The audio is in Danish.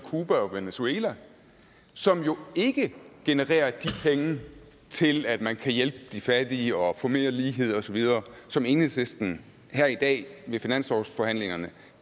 cuba og venezuela og som jo ikke genererer de penge til at man kan hjælpe de fattige og få mere lighed osv som enhedslisten her i dag ved finanslovsforhandlingerne